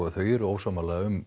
þau eru ósammála um